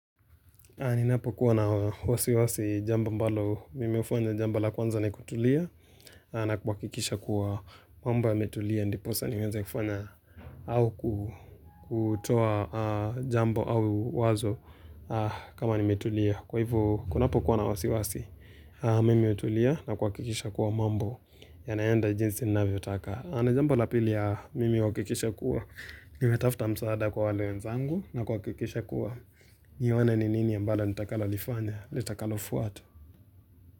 Ninapo kuwa na wasiwasi jambo ambalo mimi hufanya jambo la kwanza ni kutulia na kuhakikisha kuwa mambo yametulia ndiposa niweze kufanya au kuu kutoa jambo au wazo kama nimetulia. Kwa hivo kunapo kuwa na wasiwasi mimi hutulia na kuhakikisha kuwa mambo ya naenda jinsi ninavyotaka. Na jambo la pili mimi huhakikisha kuwa, nimetafta msaada kwa wale wenzangu na kuhakikisha kuwa, nione ni nini ambalo nitakalo lifanya, litakalo fuata.